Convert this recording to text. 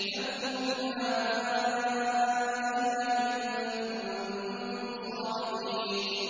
فَأْتُوا بِآبَائِنَا إِن كُنتُمْ صَادِقِينَ